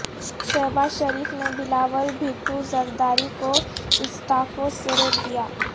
شہبازشریف نےبلاول بھٹو زرداری کو استعفوں سے روک دیا